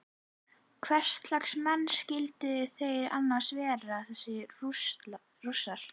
Hverslags menn skyldu þeir annars vera þessir Rússar?